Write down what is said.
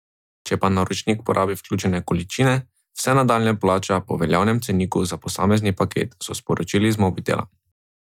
Če pa naročnik porabi vključene količine, vse nadaljnje plača po veljavnem ceniku za posamezni paket, so sporočili iz Mobitela.